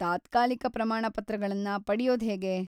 ತಾತ್ಕಾಲಿಕ ಪ್ರಮಾಣಪತ್ರಗಳನ್ನ ಪಡ್ಯೋದ್ಹೇಗೆ?